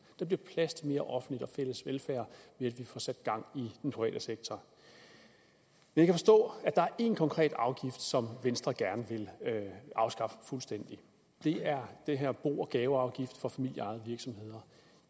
der bliver plads til mere offentlig og fælles velfærd ved at vi får sat gang i den private sektor jeg kan forstå at der er én konkret afgift som venstre gerne vil afskaffe fuldstændig og det er den her bo og gaveafgift for familieejede virksomheder